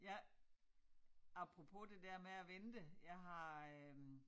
Jeg apropos det dér med at vente jeg har øh